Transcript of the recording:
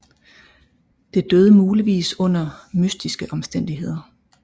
Det døde muligvis under mystiske omstændigheder